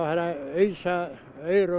ausa aur og